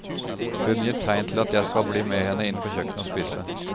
Hun gir tegn til at jeg skal bli med henne inn på kjøkkenet og spise.